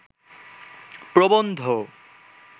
প্রবন্ধ